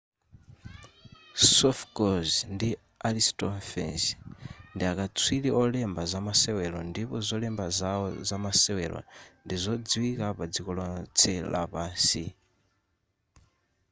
sophocles ndi aristophanes ndiakaswiri olemba zamasewero ndipo zolemba zawo zamasewero ndi zodziwika padziko lotse lapansi